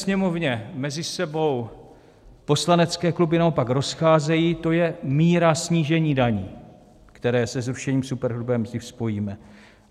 Sněmovně mezi sebou poslanecké kluby naopak rozcházejí, to je míra snížení daní, které se zrušením superhrubé mzdy spojíme.